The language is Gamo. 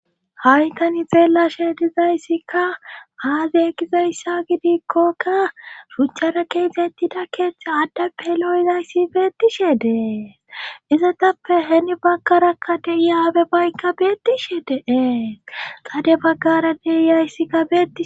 hawitani beelashe dizayssikka haaze egizayssa gidikkokka buccara keesettida keeththe addappe lo7zayssi beetishe dee izatappe heni baggara kade iyaabe baykka beetishe dee qade baggara deiyayssikka beei